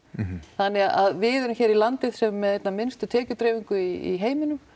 þannig að við erum hérna í landi sem er með einna minnstu tekjudreifingu í heiminum